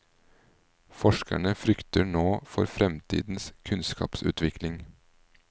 Forskerne frykter nå for fremtidens kunnskapsutvikling.